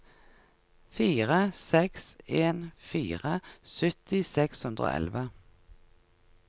fire seks en fire sytti seks hundre og elleve